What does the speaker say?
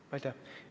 Aitäh!